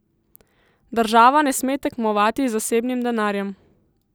Država ne sme tekmovati z zasebnim denarjem.